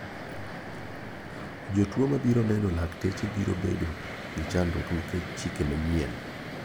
Jotuo ma biro neno lakteche biro bedo gi chandruok nikech chike manyien.